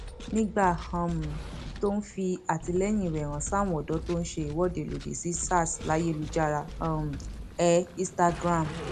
nígbà um tó ń fi àtìlẹyìn rẹ hàn sáwọn ọdọ tó ń ṣèwọde lòdì sí sarslayélujára um ẹ instagram